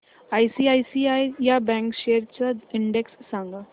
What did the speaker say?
ICICI bank shares चा index सांगा